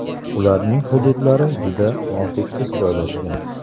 Ularning hududlari juda notekis joylashgan.